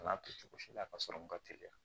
A n'a kɛ cogo si la ka sɔrɔ n ka teliya